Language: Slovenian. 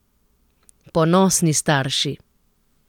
Ponosni starši.